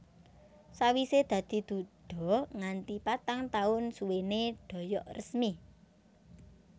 Sawisé dadi duda nganti patang taun suwené Doyok resmi